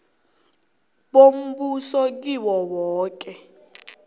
bombuso kiwo woke